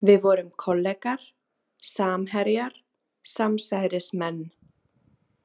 Við vorum kollegar, samherjar, samsærismenn.